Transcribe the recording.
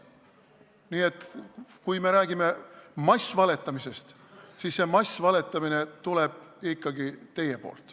Nii et kui me räägime massvaletamisest, siis see tuleb ikkagi teie poolt.